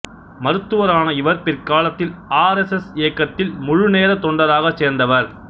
மருத்துவரான இவர் பிற்காலத்தில் R S S இயக்கத்தில் முழுநேர தொண்டராக சேர்ந்தவர்